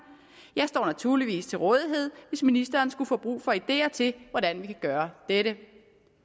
jeg står naturligvis til rådighed hvis ministeren skulle få brug for idéer til hvordan vi kan gøre dette